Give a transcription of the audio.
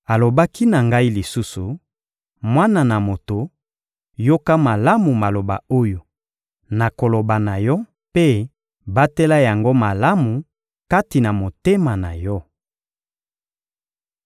Alobaki na ngai lisusu: «Mwana na moto, yoka malamu maloba oyo nakoloba na yo mpe batela yango malamu kati na motema na yo.